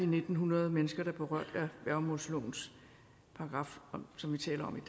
ni hundrede mennesker der er berørt af værgemålslovens paragraf som vi taler om